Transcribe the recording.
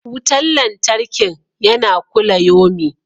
Wutan lantarkin yana kulayomi.